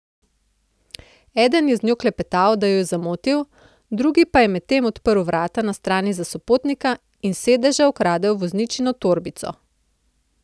Eden je z njo klepetal, da jo je zamotil, drugi pa je medtem odprl vrata na strani za sopotnika in s sedeža ukradel vozničino torbico.